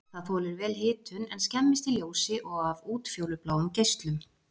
Það þolir vel hitun en skemmist í ljósi og af útfjólubláum geislum.